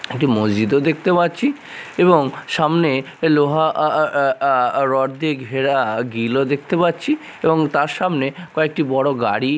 একটি মসজিদও দেখতে পাচ্ছি এবং সামনে লোহা আ আ আ আর রড দিয়ে ঘেরা গিল -ও দেখতে পাচ্ছি এবং তার সামনে কয়েকটি বড়ো গাড়ি--